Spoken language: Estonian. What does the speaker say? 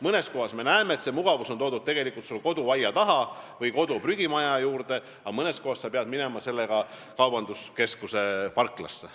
Mõnes kohas me näeme, et see mugavus on toodud koduaia taha või elamu prügimaja juurde, aga mõnes kohas pead sa minema selle pakendiga kaubanduskeskuse parklasse.